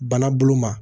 Bana bolo ma